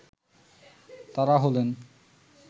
তারা হলেন